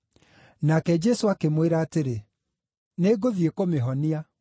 Nake Jesũ akĩmwĩra atĩrĩ, “Nĩngũthiĩ kũmĩhonia.”